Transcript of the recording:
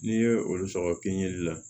N'i ye olu sɔrɔ piɲɛli la